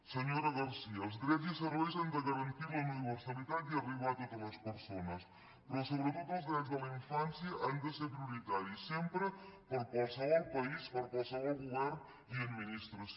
senyora garcía els drets i serveis han de garantir la universalitat i arribar a totes les persones però so·bretot els drets de la infància han de ser prioritaris sempre per a qualsevol país per a qualsevol govern i administració